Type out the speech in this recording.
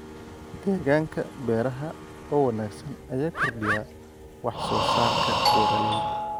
Deegaanka beeraha oo wanaagsan ayaa kordhiya wax soo saarka beeralayda.